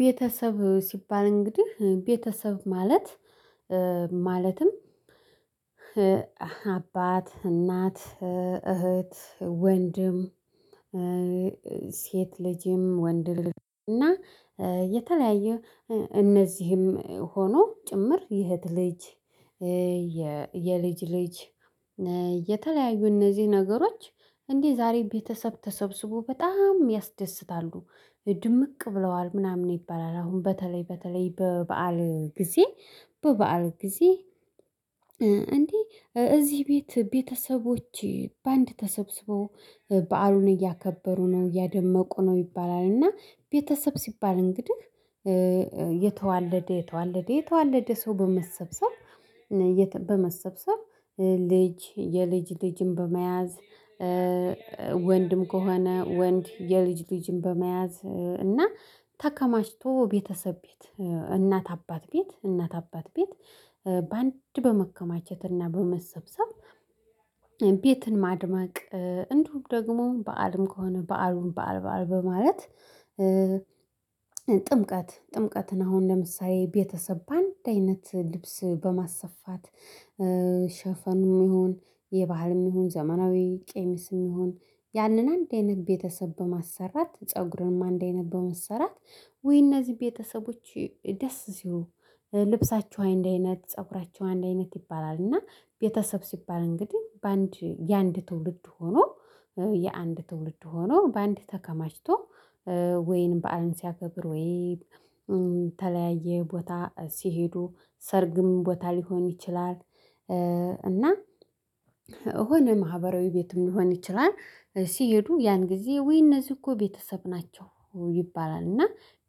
ቤተሰብ ሲባል እንግዲህ ቤተሰብ ማለት ማለትም አባት እናት እህት ወንድም። ሴት ልጅም ወንድ ልጅ እና የተለያየ እነዚህም ሆኖ ጭምር የእህት ልጅ። የልጅ ልጅ የተለያዩ እነዚህ ነገሮች። እንዲህ ዛሬ ቤተሰብ ተሰብስቦ በጣም ያስደስታሉ ድምቅ ብለዋል ምናምን ይባላል። አሁን በተለይ በተለይ በበዓል ጊዜ በበዓል ጊዜ። እንዴ እዚህ ቤት ቤተሰቦቼ በአንድ ተሰብስበው በዓሉን እያከበሩ ነው እያደመቁ ነው ይባላል። እና ቤተሰብ ሲባል እንግዲህ የተዋለደ የተዋለደ የተዋለደ ሰው በመሰብሰብ። በመሰብሰብ ልጅ የልጅ ልጅን በመያዝ። ወንድም ከሆነ ወንድ የልጅ ልጅም በመያዝ እና ተከማችቶ ቤተሰብ ቤት እናት አባት ቤት እናት አባት ቤት በአንድ በመከማቸትና በመሰብሰብ። ቤትን ማድማቅ እንዲሁ ደግሞ በዓልም ከሆነ በዓሉን በዓል በዓል በማለት። ጥምቀት ጥምቀትን አሁን ለምሳሌ ቤተሰብ በአንድ አይነት ልብስ በማሰፋት። ሽፎንም ይሁን የባህልም ይሁን ዘመናዊ ቀሚስም ይሁን ያንን አንድ አይነት ቤተሰብ በማሰራት ፀጉሩንም አንድ አይነት በመሰራት ወይ እነዚህ ቤተሰቦች ደስ ሲሉ ልብሳችሁ አንድ አይነት ፀጉራችሁ አይንድ አይነት ይባላል። እና ቤተሰብ ሲባል እንግዲህ በአንድ የአንድ ትውልድ ሆኖ የአንድ ትውልድ ሆኖ በአንድ ተከማችቶ። ወይን በዓልን ሲያከብር ወይን ተለያየ ቦታ ሲሄዱ ሰርግም ቦታ ሊሆን ይችላል። እና የሆነ ማህበራዊ ቤትም ሊሆን ይችላል። ሲሄዱ ያን ጊዜ ወይ እነዚህ እኮ ቤተሰብ ናቸው ይባላል። እና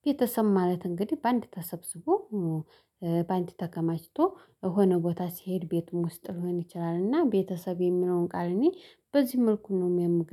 ቤተሰብ ማለት እንግዲህ በአንድ ተሰብስቦ በአንድ ተከማችቶ የሆነ ቦታ ሲሄድ ቤቱን ውስጥ ሊሆን ይችላል። እና ቤተሰብ የሚለውን ቃል እኔ በዚህ መልኩ ነው የምገርመኝ